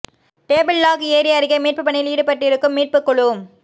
table Rock ஏரி அருகே மீட்பு பணியில் ஈடுபட்டிருக்கும் மீட்பு குழு